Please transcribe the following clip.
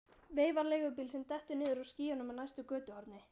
Veifar leigubíl sem dettur niður úr skýjunum á næsta götuhorni.